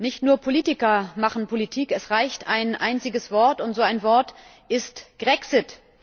Nicht nur Politiker machen Politik, es reicht ein einziges Wort, und so ein Wort ist Grexit.